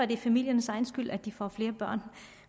det er familiernes egen skyld at de får flere børn